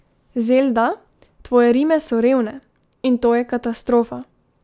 Zelda, tvoje rime so revne, in to je katastrofa.